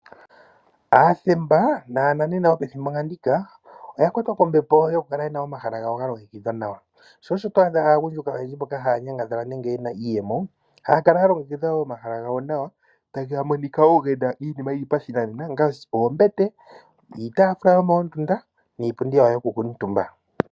Aathemba nananena mboka haya nyangadhala nenge yena iiyemo yomethimbo ndika ohaya kala yena omahala gawo ga longekidhwa nawa. Sho osho wu wete aantu mboka yena iiyemo haya kala yena omahala gawo taga monika nawa gena iinima ngaashi oombete, iitafula yopashinanena niipundi yokukuutumba.